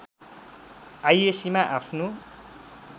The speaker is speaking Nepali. आईएस्सीमा आफ्नो